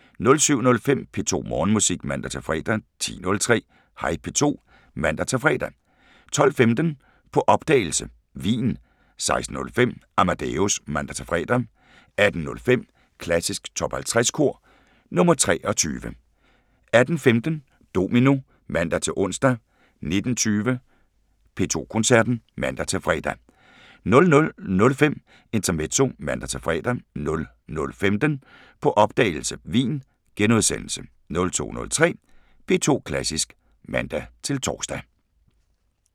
07:05: P2 Morgenmusik (man-fre) 10:03: Hej P2 (man-fre) 12:15: På opdagelse – Wien 16:05: Amadeus (man-fre) 18:05: Klassisk Top 50 Kor – nr. 23 18:15: Domino (man-ons) 19:20: P2 Koncerten (man-fre) 00:05: Intermezzo (man-fre) 00:15: På opdagelse – Wien * 02:03: P2 Klassisk (man-tor)